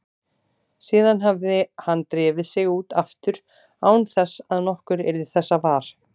Síðan hefði hann drifið sig út aftur án þess að nokkur yrði þessa var.